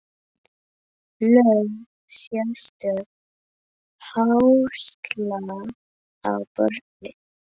Lögð sérstök áhersla á börnin.